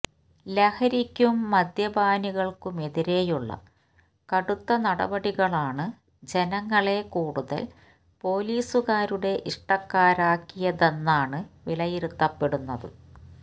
ലഹരിക്കും മദ്യപാനികള്ക്കുമെതിരെയുള്ള കടുത്ത നടപടികളാണ് ജനങ്ങളെ കൂടുതല് പോലീസുകാരുടെ ഇഷ്ടക്കാരാക്കിയതെന്നാണ് വിലയിരുത്തപ്പെടുന്നത്